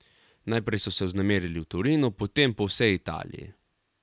Najprej so se vznemirili v Torinu, potem po vsej Italiji.